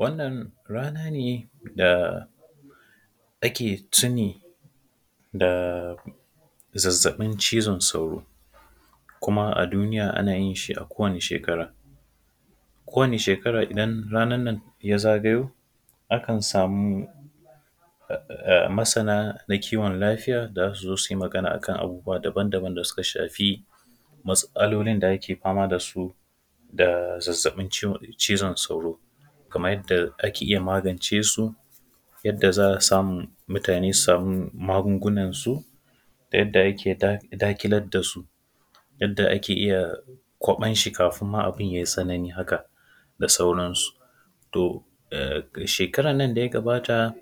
Wannan rana ne da ake tuni da zazzaƃin cizan sauro. Kuma a duniya, ana yin shi a kowani shekara, kowani shekara idan ranan nan ya zagayo, akan samu masana na kiwon lafiya da za su zo su yi magana a kan abubuwa daban-daban da suka shafi matsalolin da ake fama da su da zazzaƃin ciw; cizan sauro. Kamay yadda ake iya magance su, yadda za a samu mutane su samu magungunan su da yadda ake daƙ; daƙilad da su. Yadda ake iya kwaƃan shi kafin ma abin yai tsanani haka da sauran su. To, a shekaran nan da ya gabata,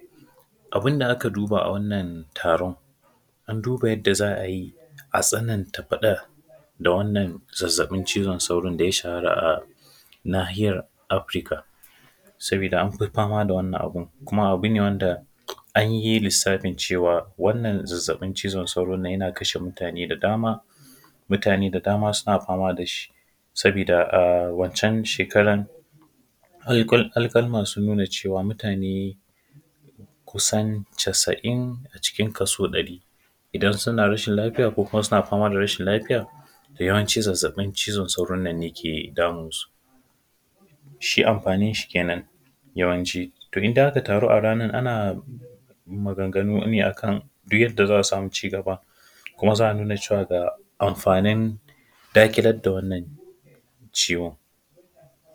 abin da aka duba a wannan taron, an duba yadda za a yi a tsananta faɗa da wannan zazzaƃin cizan sauron da ya shahara a Nahiyar Afirka, sabida an fi fama da wannan abin kuma abu ne wanda an yi lissafin cewa, wannan zazzaƃin cizon sauron nan yana kashe mutane da dama. Mutane da dama suna fama da shi sabida a wancan shekaran alƙal; alƙaluman sun nuna cewa, mutane kusan casa'in a cikin kaso ɗari idan suna rashin lafiya ko kuma suna fama da rashin lafiya, yawanci zazzaƃin cizon sauron nan ne ke damun su. Shi anfanin shi kenan, yawanci to idan aka tarun, a ranar ana maganganu ne a kan du yadda za a samu cigaba. Kuma za a nuna cewa ga anfanin daƙilad da wannan ciwon.